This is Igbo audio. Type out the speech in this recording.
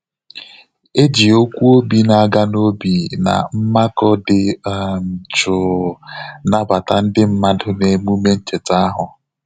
E ji okwu obi na-aga n'óbì na mmakụ dị um jụụ nabata ndị mmadụ n'emume ncheta ahụ.